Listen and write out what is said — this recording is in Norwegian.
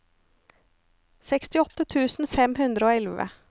sekstiåtte tusen fem hundre og elleve